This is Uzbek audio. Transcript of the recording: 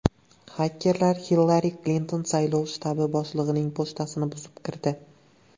Xakerlar Hillari Klinton saylov shtabi boshlig‘ining pochtasini buzib kirdi.